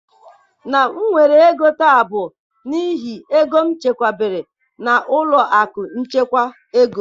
Na m nwere ego taa bụ n'ihi ego m chekwabere na ụlọ akụ nchekwa ego.